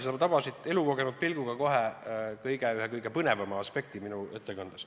Sa tabasid elukogenud inimese pilguga kohe ühe kõige põnevama aspekti minu ettekandes.